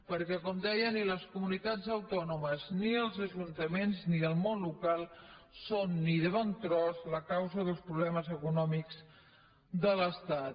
perquè com deia ni les comunitats autònomes ni els ajuntaments ni el món local són ni de bon tros la causa dels problemes econòmics de l’estat